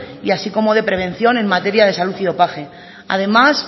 así como de prevención en materia de salud y dopaje además